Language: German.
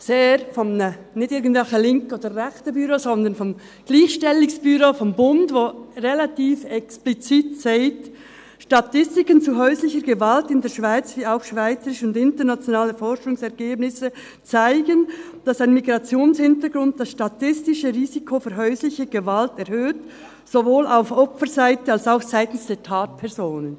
Das ist der Titel – nicht von irgendeinem linken oder rechten Büro, sondern vom Eidgenössisches Büro für die Gleichstellung von Frau und Mann (EBG), das relativ explizit sagt: «Statistiken zu häuslicher Gewalt in der Schweiz wie auch schweizerische und internationale Forschungsergebnisse [Killias et al. 2005, Schröttle & Khelaifat 2007, Schröttle & Ansorge 2008, Condon et al. 2011]» zeigen, «dass ein Migrationshintergrund das statistische Risiko für häusliche Gewalt erhöht, sowohl auf Opferseite als auch seitens der Tatpersonen.